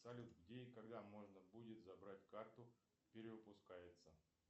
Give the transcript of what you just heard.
салют где и когда можно будет забрать карту перевыпускается